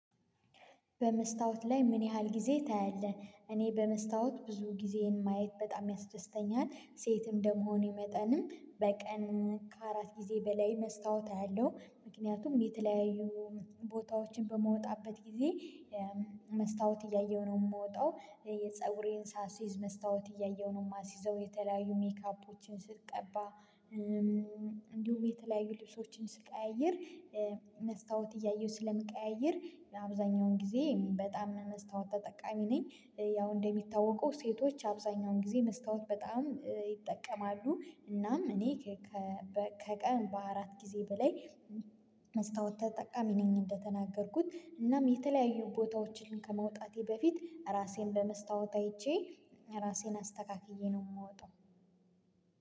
በመስታወት ላይ ምን ያህል ጊዜ ታያለህ? እኔ በመስታወት ብዙ ጊዜዬን ማየት በጣም ያስደስተኛል ሴትም እንደመሆኔ መጠንም በቀን ከአራት ጊዜ በላይ መስታወት አያለሁ ምክንያቱም እኔ የተለያዩ ቦታዎችን በመወጣበት ጊዜ መስታወት እያየሁ ነው ምወጣው እ የፀጉሬን ሳስይዝ መስታወት እያየሁ ነው ማስይዘው የተለያዩ ሜካፖችን ስትቀባ እም እንዲሁም የተለያዩ ልብሶችን ስንቀያይር እ መስታወት እያየሁ ስለምቀያይር አብዛኛውን ጊዜ እም በጣም መስታወት ተጠቃሚ ነኝ። እ ያው እንደሚታወቀው ሴቶች አብዛኛውን ጊዜ መስታወት በጣም እ ይጠቀማሉ እናም እኔ እ ከ ከቀን በአራት ጊዜ በላይ መስታወት ተጠቃሚ ነኝ። እንደተናገርኩት እናም የተለያዩ ቦታዎችን ከመውጣቴ በፊት ራሴን በመስታወት አይቼ ራሴን አስተካክዬ ነው ምወጣው።